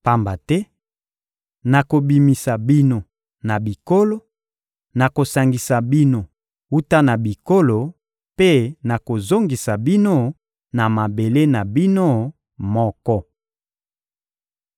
Pamba te nakobimisa bino na bikolo, nakosangisa bino wuta na bikolo mpe nakozongisa bino na mabele na bino moko.